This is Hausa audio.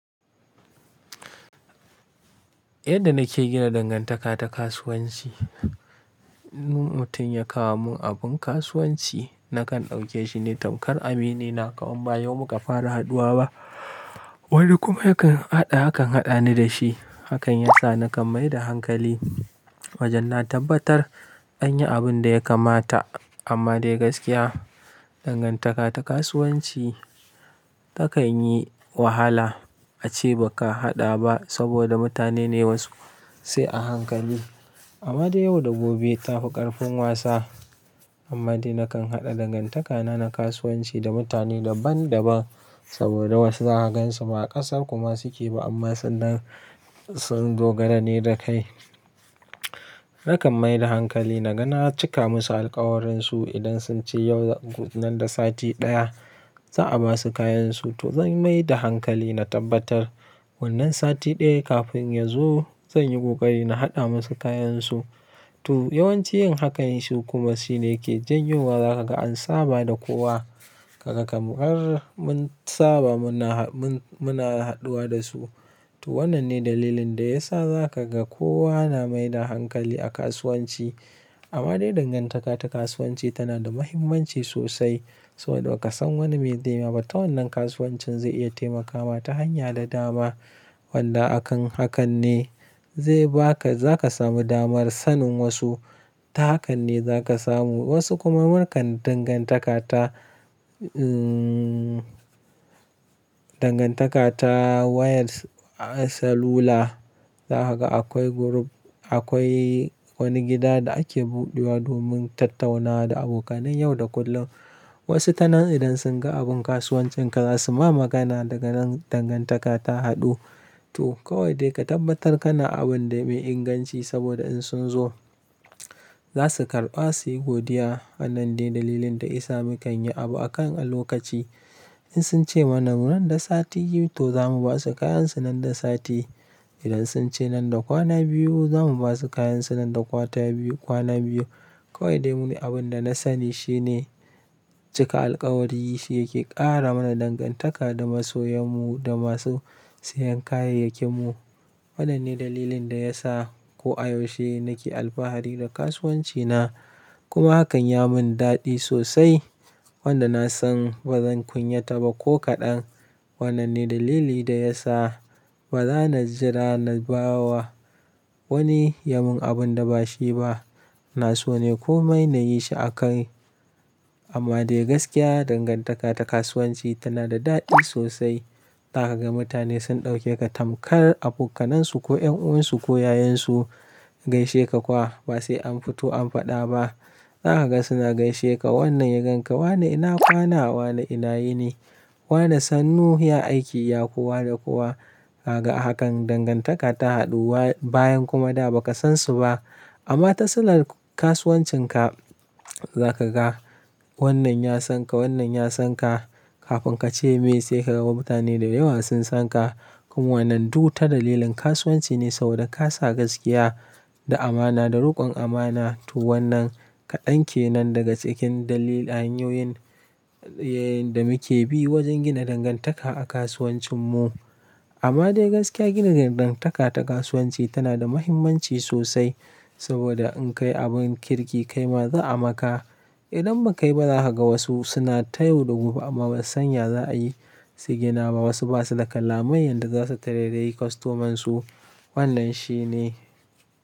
Yadda nake gina dangantaka ta kasuwanci, mutum ya kawo mun abun kasuwanci nakan ɗauke shi ne tamkar aminina, kamar ba yau muka fara haduwa ba. Wani kuma yakan haɗa, hakan haɗa ni da shi. Hakan yasa nakan mai da hankali wajen na tabbatar an yi abun da ya kamata. Amma dai gaskiya, dangantaka ta kasuwanci takanyi wahala ace baka haɗa ba saboda mutane ne wasu, sai a hankali. Amma dai yau da gobe tafi ƙarfin wasa. Amma dai nakan haɗa dangantaka na na kasuwanci da mutane daban-daban saboda wasu za ha gansu ba ƙasar kuma suke ba amma sun dogara ne da kai. Nakan mai da hankali naga na cika musu alkawarinsu idan sun ce yau nan da sati ɗaya za a basu kayansu to zan mai da hankali na tabbatar wannan sati ɗaya kafin ya zo zan yi ƙoƙari na haɗa musu kayansu. To yawanci yin hakan shi kuma shine ke janyo wa za ka ga an saba da kowa kaga kamar mun saba muna, muna haduwa da su. To wannan ne dalilin da yasa za ka ga kowa na mai da hankali a kasuwanci. Amma dai dangantaka ta kasuwanci tana da muhimmanci sosai saboda ba ka san wane mai zai ma ba. Ta wannan kasuwancin zai iya taimakawa ta hanya da dama. Wanda akan hakan ne zai baka, za ka samu damar sanin wasu. Ta hakan ne za ka samu wasu kuma mukan dangantaka ta, dangantaka ta wayar salula. Za ka ga akwai group, akwai wani gida da ake buɗewa domin tattaunawa da abokanai yau da kullum. Wasu ta nan idan sun ga abun kasuwancin ka za su ma magana daga nan dangantaka ta haɗu. To kawai dai ka tabbatar kana abun da mai inganci saboda in sun zo za su karɓa suyi godiya. Wannan dai dalilin da yasa mukan yi abu a kan a lokaci. In sun ce mana nan da sati biyu to zamu basu kayansu nan da sati. Idan sun ce nan da kwana biyu zamu basu kayansu nan da kwata biyu, kwana biyu. Kawai dai mu ne abun da na sani shine cika alkawari shi yake ƙara mana dangantaka da masoyan mu da masu sayen kayayyakin mu. Wannan ne dalilin da yasa ko a yaushe nake alfahari da kasuwanci na kuma hakan ya mun daɗi sosai wanda na san ba zan kunyata ba ko kaɗan. Wannan ne dalili da yasa ba za na jira na bawa wani ya mun abun da ba shi ba. Ina so ne ko mai na yi shi a kai. Amma dai gaskiya dangantaka ta kasuwanci tana da daɗi sosai. Za ka ga mutane sun ɗauke ka tamkar abokanansu ko ƴan uwansu ko yayansu. Gaishe ka kuwa ba sai an fito an faɗa ba. Za ka ga suna gaishe ka, wannan ya ganka, wana ina kwana, wana ina yini? Wana sannu ya aiki ya kuwa da kowa. Kaga a hakan dangantaka ta haɗuwa bayan kuma da ba ka san su ba. Amma ta silar kasuwancin ka za ka ga wannan ya san ka, wannan ya san ka. Kafin ka ce me sai ka ga mutane da yawa sun san ka. Kuma wannan duk ta dalilin kasuwanci ne saboda ka sa gaskiya da amana da riƙon amana. To wannan kaɗan kenan daga cikin dalilan, hanyoyin da muke bi wajen gina dangantaka a kasuwancin mu. Amma dai gaskiya gina dangantaka ta kasuwanci tana da muhimmanci sosai saboda in kai abun kirki kai ma za a maka. Idan ba kai ba za ka ga wasu suna ta yau da gobe amma ba su san ya za a yi su gina ba. Wasu basa da kala mai yanda za su taray-rayi kwastomansu. Wannan shi ne.